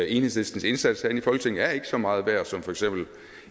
enhedslistens indsats her i folketinget er ikke så meget værd som for eksempel